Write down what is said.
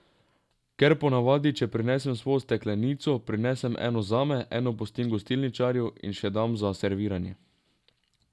Ker ponavadi, če prinesem svojo steklenico, prinesem eno zame, eno pustim gostilničarju, in še dam za serviranje.